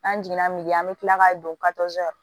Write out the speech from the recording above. An jiginna an bɛ tila ka don